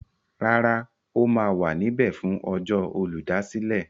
Rárá, ó ma wà níbẹ̀ fún ọjọ́ Olùdásílẹ̀.